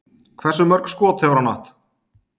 Hversu mörk skot hefur hann átt?